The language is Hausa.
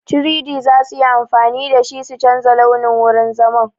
3-D za su yi amfani da shi su canja launin wurin zaman.